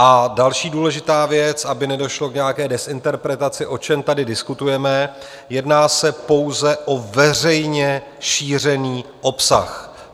A další důležitá věc, aby nedošlo k nějaké dezinterpretaci - o čem tady diskutujeme, jedná se pouze o veřejně šířený obsah.